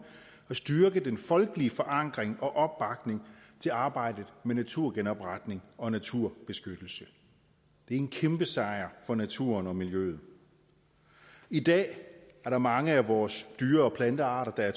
at styrke den folkelige forankring og opbakning til arbejdet med naturgenopretning og naturbeskyttelse det er en kæmpesejr for naturen og miljøet i dag er der mange af vores dyre og plantearter der er